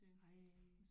Ej